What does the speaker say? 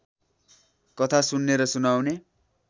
कथा सुन्ने र सुनाउने